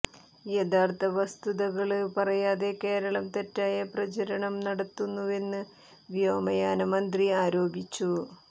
യഥാര്ത്ഥ വസ്തുതകള് പറയാതെ കേരളം തെറ്റായ പ്രചരണം നടത്തുന്നുവെന്ന് വ്യോമയാനമന്ത്രി ആരോപിച്ചു